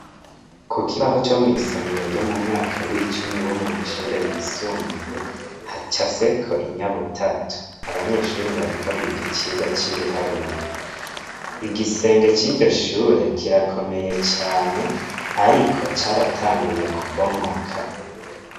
Ku kibaho co mw' isomero ryo mu mwaka w'icumi wo mu mashure yisumbuye, hacafyeko inyabutatu. Abanyeshuri bariko biga icigwa c'ibiharuro. Igisenge c'iryo shure, kirakomeye cane ariko caratanguye kubomoka.